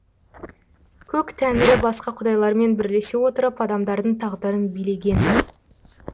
көк тәңірі басқа құдайлармен бірлесе отырып адамдардың тағдырын билеген